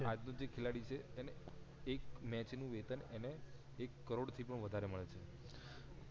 આજનો જે ખિલાડી છે એને એક મેચ નું વેતન એને એક કરોડ થી પણ વધારે મળે છે